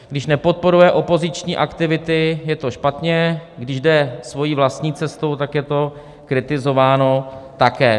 Když nepodporuje opoziční aktivity, je to špatně, když jdeme svojí vlastní cestou, tak je to kritizováno také.